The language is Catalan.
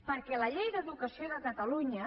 perquè la llei d’educació de catalunya